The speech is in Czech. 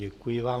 Děkuji vám.